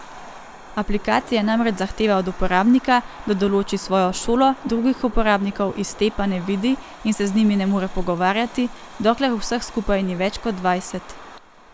Aplikacija namreč zahteva od uporabnika, da določi svojo šolo, drugih uporabnikov iz te pa ne vidi in se z njimi ne more pogovarjati, dokler vseh skupaj ni več kot dvajset.